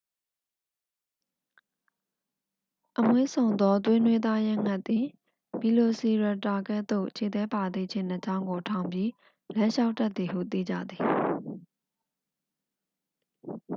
အမွှေးစုံသော သွေးနွေးသားရဲငှက်သည် ဗီလိုစီရပ်တာ ကဲ့သို့ ခြေသည်းပါသည့် ခြေနှစ်ချောင်းကို ထောင်ပြီး လမ်းလျှောက်တတ်သည်ဟု သိကြသည်